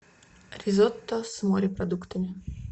ризотто с морепродуктами